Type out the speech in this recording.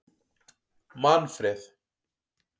Manfreð